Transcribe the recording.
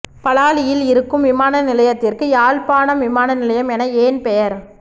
பலாலியில் இருக்கும் விமான நிலையத்திற்கு யாழ்ப்பாணம் விமான நிலையம் என ஏன் பெயர்